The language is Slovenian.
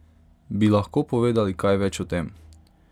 Bi lahko povedali kaj več o tem?